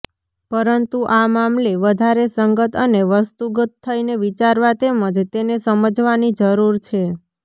પરંતુ આ મામલે વધારે સંગત અને વસ્તુગત થઈને વિચારવા તેમજ તેને સમજવાની જરૂર છે